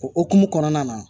O hokumu kɔnɔna na